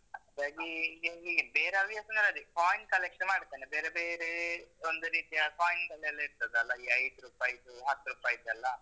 ಬೇರೆ ಹವ್ಯಾಸಾಂದ್ರೆ ಅದೇ coins collection ಮಾಡ್ತೇನೆ. ಬೇರೆ ಬೇರೆ ಒಂದು ರೀತಿಯ coins ಅಲ್ಲೆಲ್ಲ ಇರ್ತದಲ್ಲ, ಈ ಐದ್ರುಪಾಯಿದ್ದು, ಹತ್ರುಪಾಯಿದ್ದೆಲ್ಲ.